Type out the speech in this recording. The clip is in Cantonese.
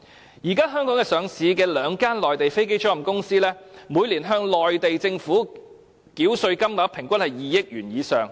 現時兩間在香港上市的內地飛機租賃公司，每年向內地政府繳稅金額平均是2億元以上。